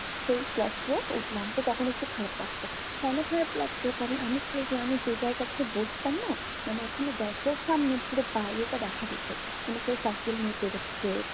সেই class two এ উঠলাম। তো তখন একটু খারাপ লাগতো। কেন খারাপ লাগতো? কারণ আমি class one এ যে জায়গাটাতে বসতাম না মানে ওখানে দরজার সামনে পুরো বাইরেটা দেখা যেত। মানে কেউ পেড়োচ্ছে।